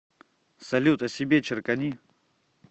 салют о себе черкани